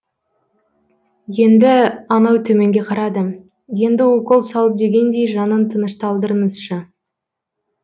енді анау төменге қарады енді укол салып дегендей жанын тынышталдырыңызшы